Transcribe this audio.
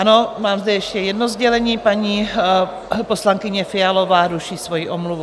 Ano, mám zde ještě jedno sdělení: paní poslankyně Fialová ruší svoji omluvu.